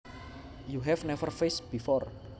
You have never fished before